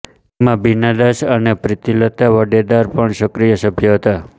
તેમાં બીના દાસ અને પ્રીતિલતા વાડ્ડેદાર પણ સક્રિય સભ્ય હતા